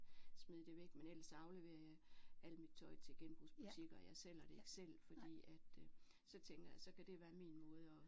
Smide det væk men ellers så afleverer jeg al mit tøj til genbrugsbutikker jeg sælger det ikke selv fordi at så tænker jeg så kan det være min måde at